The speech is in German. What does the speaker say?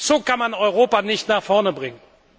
So kann man Europa nicht nach vorne bringen!